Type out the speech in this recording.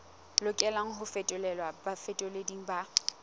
lokelang ho fetolelwa bafetoleding ba